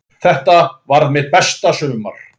Þetta varð mitt besta sumar.